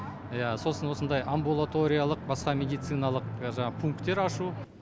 иә сосын осындай амбулаториялық басқа медициналық жаңағы пунктер ашу